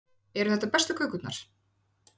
Eru þetta bestu kökurnar?